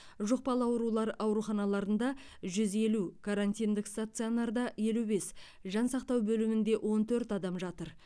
жұқпалы аурулар ауруханаларында жүз елу карантиндік стационарда елу бес жансақтау бөлімінде он төрт адам жатыр